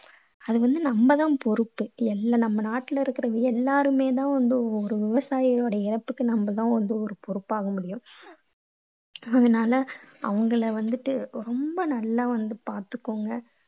அது வந்து நம்ம தான் பொறுப்பு. எல்லா நம்ம நாட்டுல இருக்கற எல்லாருமே தான் வந்து ஒரு விவசாயியோட இழப்புக்கு நம்ம தான் பொறுப்பாகணும். அதனால அவங்களை வந்துட்டு ரொம்ப நல்லா வந்து பார்த்துகோங்க.